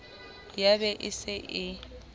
ya be e se e